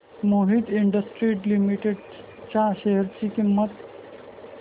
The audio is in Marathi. मोहित इंडस्ट्रीज लिमिटेड च्या शेअर ची किंमत